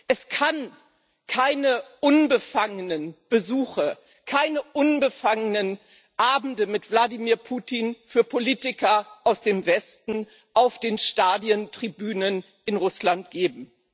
Es kann für Politiker aus dem Westen keine unbefangenen Besuche, keine unbefangenen Abende mit Wladimir Putin auf den Stadien Tribünen in Russland geben.